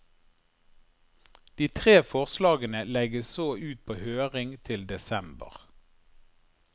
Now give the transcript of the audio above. De tre forslagene legges så ut på høring til desember.